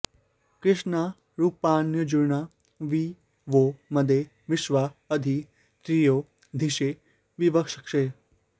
कृष्णा रूपाण्यर्जुना वि वो मदे विश्वा अधि श्रियो धिषे विवक्षसे